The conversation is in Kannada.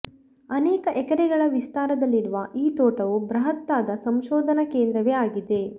ಅನೇಕ ಎಕರೆಗಳ ವಿಸ್ತಾರದಲ್ಲಿರುವ ಈ ತೋಟವು ಬೃಹತ್ತಾದ ಸಂಶೋಧನಾ ಕೇಂದ್ರವೇ ಆಗಿದೆ